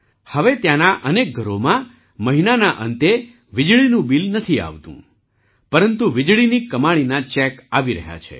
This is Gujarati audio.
હવે ત્યાંનાં અનેક ઘરોમાં મહિનાના અંતેવીજળીનું બિલ નથી આવતું પરંતુ વીજળીની કમાણીના ચૅક આવી રહ્યા છે